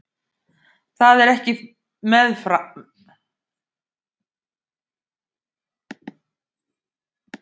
Það er ekki með farm